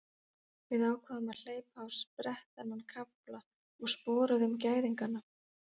Við ákváðum að hleypa á sprett þennan kafla og sporuðum gæðingana.